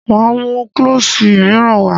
Máa mú klọ́ṣì míràn wá.